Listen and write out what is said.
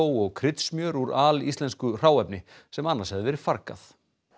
og kryddsmjör úr alíslensku hráefni sem annars hefði verið fargað